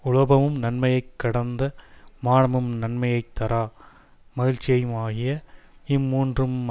உலோபமும் நன்மையை கடந்த மானமும் நன்மையை தாரா மகிழ்ச்சியுமாகிய இம்மூன்றும்